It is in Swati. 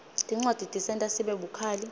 tincwadzi tisenta sibe bukhali